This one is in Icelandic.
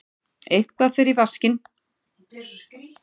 Eitthvað fer í vaskinn